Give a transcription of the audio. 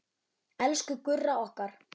Elsku Gurra okkar.